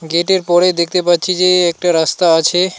গেটের পরে দেখতে পাচ্ছি যে একটা রাস্তা আছে.